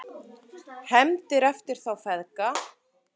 HEFNDIR EFTIR ÞÁ FEÐGA